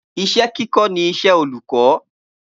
Iṣẹ́ kíkọ ní iṣẹ olukọ